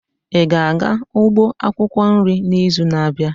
Ị ga-aga ugbo akwukwo nri n'izu na-abịa?